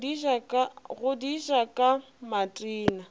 go di ja ka matena